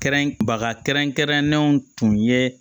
Kɛrɛnkɛrɛn baga kɛrɛnkɛrɛnlenw tun ye